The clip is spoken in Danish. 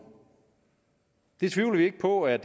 det tvivler vi ikke på at